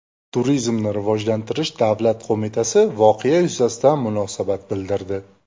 Turizmni rivojlantirish davlat qo‘mitasi voqea yuzasidan munosabat bildirdi .